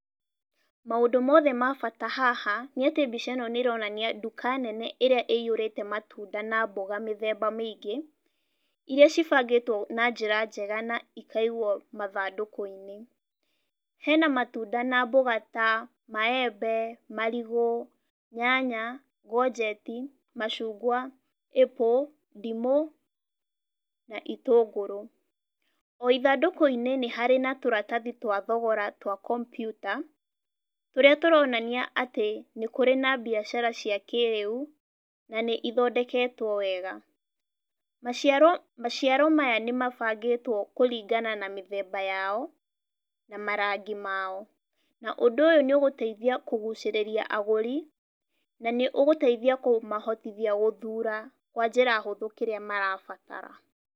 Maũndũ mothe ma bata haha nĩ atĩ mbica ĩno nĩ ĩronania nduka nene ĩrĩa ĩiyũrĩte matunda na mboga mĩthemba mĩingĩ, irĩa ibangĩtwo na njĩra njega na ikaigwo mathandũkũ-inĩ. Hena matunda na mboga ta maembe, marigũ, nyanya, courgettes, macungwa, apple, ndimũ na itũngũrũ. O ithandũkũ-inĩ nĩ harĩ na tũratathi twa thogora twa kompiuta, tũrĩa tũronania atĩ nĩ kũrĩ na biacara cia kĩrĩu na nĩ ithondeketwo wega. Maciaro maya nĩ mabangĩtwo kũringana na mĩthemba yao na marangi mao. Na ũndũ ũyũ nĩ ũgũteithia kũgucĩrĩria agũri, na nĩ ũgũteithia kũmahotithia gũthura kwa njĩra hũthũ kĩrĩa marabatara.